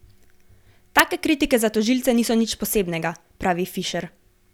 Take kritike za tožilce niso nič posebnega, pravi Fišer.